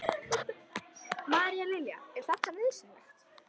María Lilja: Er þetta nauðsynlegt?